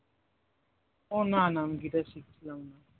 ও না না আমি guitar শিখছিলাম না